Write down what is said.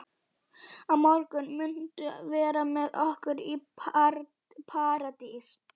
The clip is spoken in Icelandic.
Á morgun muntu vera með okkur í Paradís.